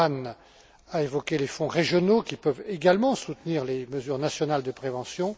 Luhan a évoqué les fonds régionaux, qui peuvent également soutenir les mesures nationales de prévention.